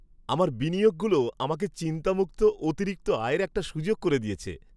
আমার বিনিয়োগগুলো আমাকে চিন্তামুক্ত অতিরিক্ত আয়ের একটা সুযোগ করে দিয়েছে।